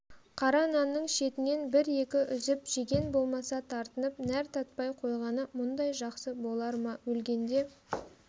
қара нанның шетінен бір-екі үзіп жеген болмаса тартынып нәр татпай қойғаны мұндай жақсы болар ма өлгенде